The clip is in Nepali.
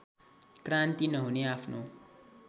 क्रान्ति नहुने आफ्नो